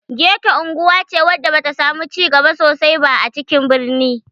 Geto unguwa ce wadda ba ta samu cigaba sosai ba a cikin birni